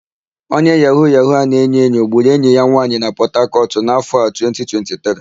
Onye yahu-yahu a na-enyoenyo gburu enyi ya nwaanyì na Pọtakọtụ n'áfọ̀ a, 2023.